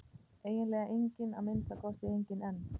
Eiginlega enginn, að minnsta kosti enginn einn.